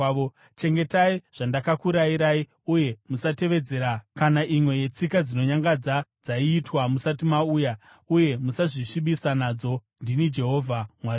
Chengetai zvandakakurayirai uye musatevedzera kana imwe yetsika dzinonyangadza dzaiitwa musati mauya, uye musazvisvibisa nadzo. Ndini Jehovha Mwari wenyu.’ ”